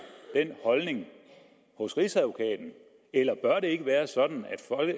den holdning hos rigsadvokaten eller bør det ikke være sådan